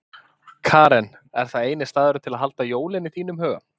Karen: Er það eini staðurinn til að halda jólin í þínum huga?